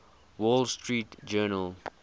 wall street journal